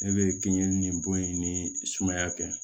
Ne bɛ kinɲɛ nin bo ye ni sumaya tɛ